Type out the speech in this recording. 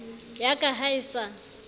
ya ka ha e sa